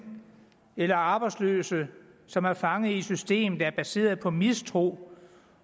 eller arbejdsløse som er fanget i et system der er baseret på mistro